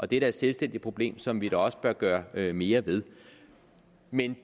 det er da et selvstændigt problem som vi også bør gøre mere ved men